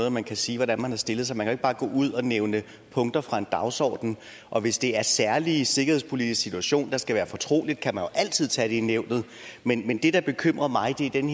at man kan sige hvordan man har stillet sig man kan jo ikke bare gå ud og nævne punkter fra en dagsorden og hvis det er en særlig sikkerhedspolitisk situation der skal være fortrolig kan man jo altid tage det i nævnet men det der bekymrer mig er den